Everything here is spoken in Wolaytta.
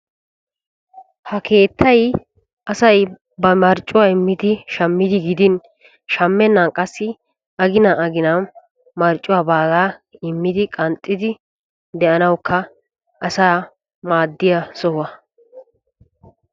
Ha keettay asay ba marccuwa immiddi shammiddi gidin shamennan qassi aginan aginan marccuwaa baaga immiddi de'annawukka asaa maadiya sohuwaa.